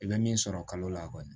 I bɛ min sɔrɔ kalo la kɔni